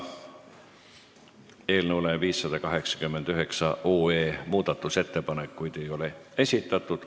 Eelnõu 589 kohta ei ole muudatusettepanekuid esitatud.